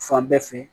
Fan bɛɛ fɛ